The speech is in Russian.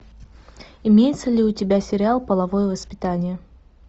имеется ли у тебя сериал половое воспитание